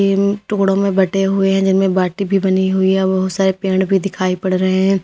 टुकड़ों में बटे हुए हैं जिनमें बाटी भी बनी हुई है व बहुत सारे पेड़ भी दिखाई पड़ रहे हैं।